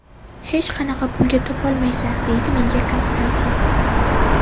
Hech qanaqa pulga topolmaysan”, deydi menga Konstantin.